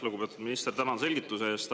Lugupeetud minister, tänan selgituste eest!